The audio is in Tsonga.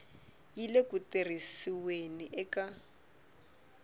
yi le ku tirhisiweni eka